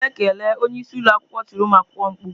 Bilie kelee! Onye isi ụlọ akwụkwọ tiri ụmụ akwụkwọ mkpu.